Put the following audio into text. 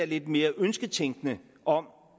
lidt mere en ønsketænkning om